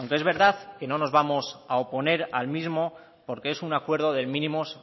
aunque es verdad que no nos vamos a oponer al mismo porque es un acuerdo de mínimos